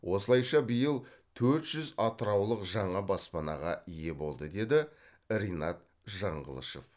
осылайша биыл төрт жүз атыраулық жаңа баспанаға ие болды деді ринат жаңғылышов